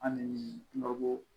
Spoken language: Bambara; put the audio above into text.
An ni babɔ